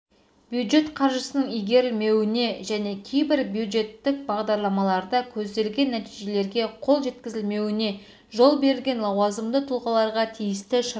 бюджет қаржысының игірілмеуіне және кейбір бюджеттік бағдарламаларда көзделген нәтижелерге қол жеткізілмеуіне жол берген лауазымды тұлғаларға тиісті шаралар